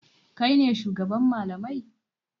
Kai ne shugaban malamai?